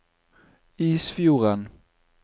Isfjorden